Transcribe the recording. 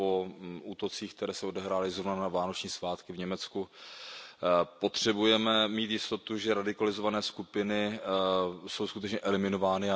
Po útocích, které se odehrály zrovna na vánoční svátky v Německu, potřebujeme mít jistotu, že radikalizované skupiny jsou skutečně eliminovány.